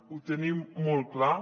ho tenim molt clar